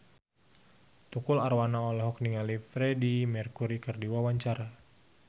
Tukul Arwana olohok ningali Freedie Mercury keur diwawancara